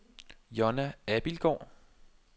Jonna Abildgaard